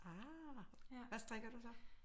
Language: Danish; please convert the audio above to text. Ah hvad strikker du så?